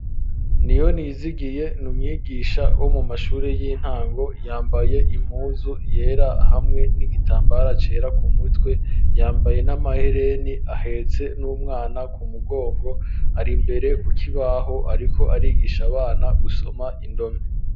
Niyonizigiye n'umwigisha wo mu mashuri y'intango, yambaye impuzu yera, hamwe n'igitambara cera ku mutwe, yambaye n'amahereni, ahetse n'umwana ku mugongo, ari mbere ku kibaho ariko arigisha abana gusoma indome.